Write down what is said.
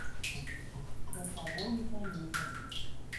часовой механизм